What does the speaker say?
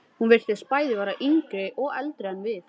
Hún virtist bæði yngri og eldri en við.